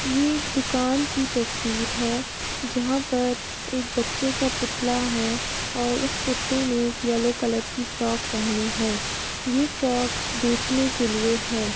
ये एक दुकान की तस्वीर है जहां पर एक बच्चे का पुतला है और उस पुतले ने एक येलो कलर की फ्रॉक पहनी है ये फ्रॉक बेचने के लिए है।